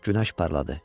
Günəş parladı.